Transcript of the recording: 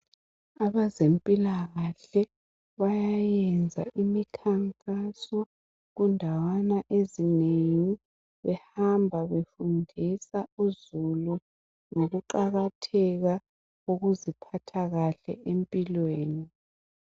Abezempilakahle bayayenza imikhankaso kuzindawana ezinengi behamba befundisa uzulu ngokuqakatheka kokuziphatha kahle empilweni